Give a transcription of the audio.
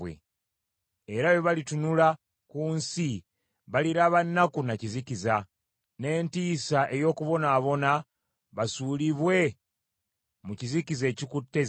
Era bwe balitunula ku nsi baliraba nnaku na kizikiza, n’entiisa ey’okubonaabona basuulibwe mu kizikiza ekikutte zigizigi.